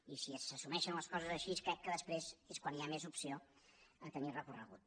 i si s’assumeixen les coses així crec que després és quan hi ha més opció a tenir recorregut